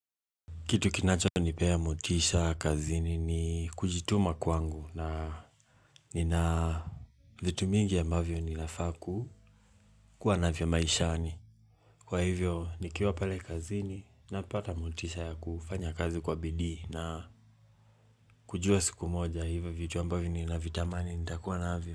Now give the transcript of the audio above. Kitu kinacho nipea motisha kazini ni kujituma kwangu na ni na vitu mingi ya mbavyo ni nafaa ku kuwa na vyo maishani. Kwa hivyo nikiwa pale kazini na pata motisha ya kufanya kazi kwa bidii na kujua siku moja hivyo vitu ambavyo ni na vitamani nitakuwa navyo.